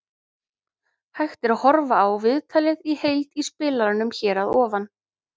Hægt er að horfa á viðtalið í heild í spilaranum hér að ofan.